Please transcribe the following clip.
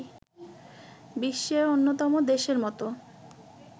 বিশ্বের অন্যতম দেশের মতো